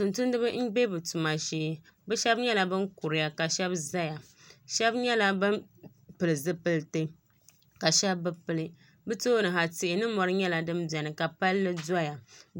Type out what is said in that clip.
Tumtumdiba n bɛ bI tuma shee shab nyɛla bin kuriya ka shab ʒɛya shab nyɛla bin pili zipiliti ka shab bi pili bi tooni ha tihi ni mori nyɛla din biɛni ka palli doya